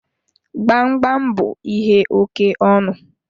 Gbamgbam bú ihe oke ọnụ